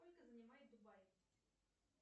сколько занимает дубаи